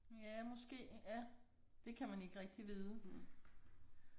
Ja måske ja. Det kan man ikke rigtig vide